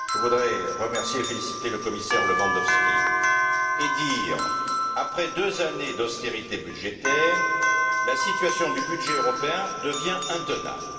Je voudrais remercier et féliciter le commissaire Lewandowski et dire qu'après deux années d'austérité budgétaire, la situation du budget européen devient intenable.